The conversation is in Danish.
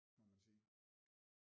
Må man sige